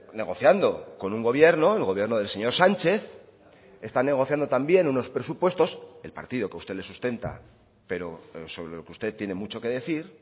negociando con un gobierno el gobierno del señor sánchez está negociando también unos presupuestos el partido que a usted le sustenta pero sobre lo que usted tiene mucho que decir